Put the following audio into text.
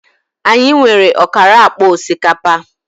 Anyị nwere ọkara akpa osikapa